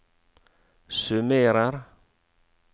summerer